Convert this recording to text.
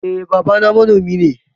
Eh babana manomi ne.